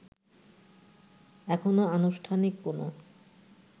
এখনও আনুষ্ঠানিক কোন